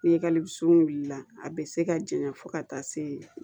Ni e kalisunna a bɛ se ka janya fo ka taa se